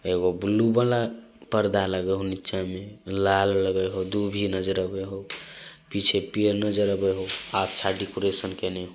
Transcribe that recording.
एगो ब्लू वाला पर्दा लगे होय नीचे में लाल लगे होय दूभी नजर आवे होय। पीछे पेड़ नजर आवे होय अच्छा डेकोरेशन केने।